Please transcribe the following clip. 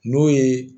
N'o ye